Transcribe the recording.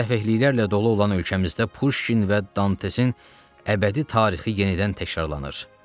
Səfehliklərlə dolu olan ölkəmizdə Puşkin və Dantesin əbədi tarixi yenidən təkrarlanır.